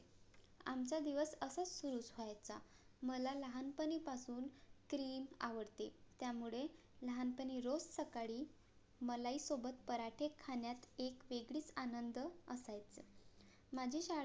आमचा दिवस असाच सुरु होयचा मला लहानपणी पासून cream आवडते त्यामुळे लहानपणी रोज सकाळी मलाई सोबत पराठे खाण्यात एक वेगळीच आनंद असायच माझी शाळा